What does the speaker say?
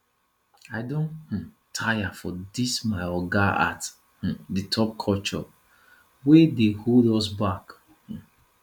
i don um tire for dis my oga at um the top culture wey dey hold us back um